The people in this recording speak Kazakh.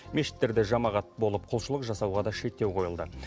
мешіттерде жамағат болып құлшылық жасауға да шектеу қойылды